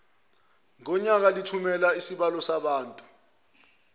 ngonyaka lithumela izincwadi